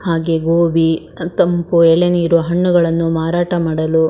ಹಾಗೆ ಗೋಬಿ ಅದ್ ತಂಪು ಎಳನೀರು ಹಣ್ಣುಗಳನ್ನು ಮಾರಾಟ ಮಾಡಲು --